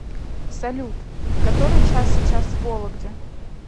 салют который час сейчас в вологде